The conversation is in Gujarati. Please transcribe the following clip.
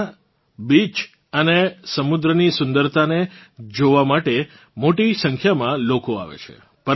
ત્યાનાં બીચીસ અને સમુદ્રની સુંદરતાને જોવાં માટે મોટી સંખ્યામાં લોકો આવે છે